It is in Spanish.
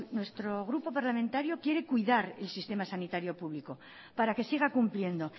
nuestro grupo parlamentario quiere cuidar el sistema sanitario público para que siga cumpliendo